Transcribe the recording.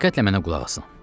Diqqətlə mənə qulaq asın.